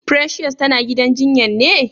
Precious tana gidan jinyan ne?